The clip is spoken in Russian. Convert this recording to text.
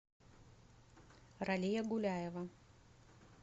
ралия гуляева